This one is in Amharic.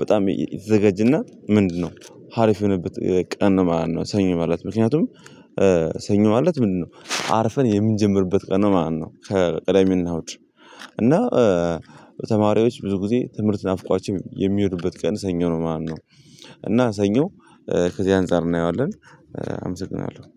በጣም የተዘጋጀና ምንድነው ሀሪፍ የሆነበት ቀን ማለት ነው። ሰኞ ማለት ምክንያቱም ሰኞ ማለት ምንድነው? አርፈን የምንጀምርበት ቀን ነው ማለት ነው። ቅዳሜ እና እሁድ ተማሪዎች ብዙ ጊዜ ትምህርት ናፍቋቸው የሚሄዱበት ቀን ሰኞ ነው ማለት ነው። እና ሰኞ ከዚህ አንፃር እናየዋለን አመሰግናለሁ